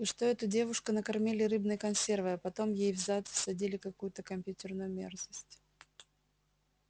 и что эту девушку накормили рыбной консервой а потом ей в зад всадили какую-то компьютерную мерзость